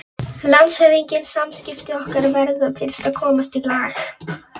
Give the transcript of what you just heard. LANDSHÖFÐINGI: Samskipti okkar verða fyrst að komast í lag.